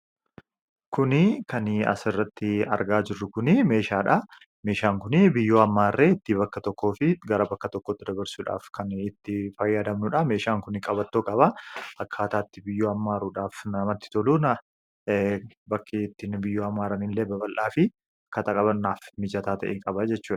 Kuni kan asirratti argaa jirru kunii meeshaadha . Meeshaan kunii biyyoo hammaarree bakka tokkootii gara bakka tokkootti dabarsuudhaaf kan fayyadamnudha .meeshaan kuni qabattoo qaba akka ataatti biyyoo ammaaruudhaaf namatti toluuna bakkettiin biyyoo ammaara in lee babal'aa fi kataqabanaaf mijataa ta'e qaba jechudha.